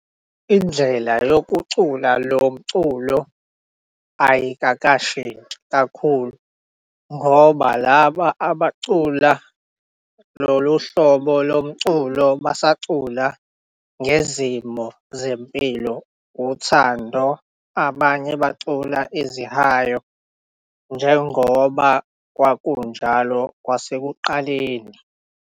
Indlela yokucula loculo ayikakashinthsi kakhulu ngoba laba abacula lolu hlobo loculo basacula ngezimo zempilo, uthhando abanye bacula izihayo njengoba kwakunjalo kwasekuqaleni.